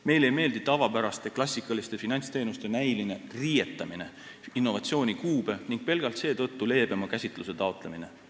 Meile ei meeldi tavapäraste klassikaliste finantsteenuste näiline riietamine innovatsiooni kuube ning pelgalt seetõttu leebema käsitluse taotlemine.